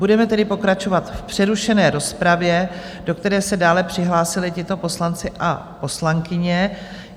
Budeme tedy pokračovat v přerušené rozpravě, do které se dále přihlásili tito poslanci a poslankyně.